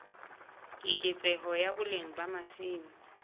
keketseho ya boleng ba masimo